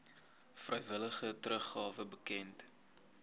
vrywillige teruggawe bekend